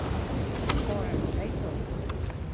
করাটা তাইতো